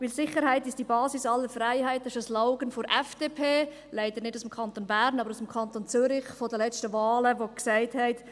Denn «Sicherheit ist die Basis aller Freiheit» ist ein Slogan der FDP, leider nicht aus dem Kanton Bern, aber aus dem Kanton Zürich, von den letzten Wahlen, die gesagt hat: